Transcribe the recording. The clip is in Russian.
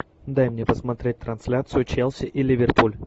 дай мне посмотреть трансляцию челси и ливерпуль